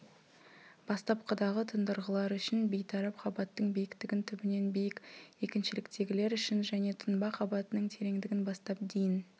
бастапқыдағы тұндырғылар үшін бейтарап қабаттың биіктігін түбінен биік екіншіліктегілер үшін және тұнба қабатының тереңдігін бастап дейін